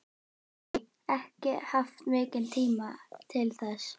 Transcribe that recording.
Lillý: Ekki haft mikinn tíma til þess?